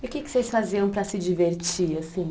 E o que que vocês faziam para se divertir assim?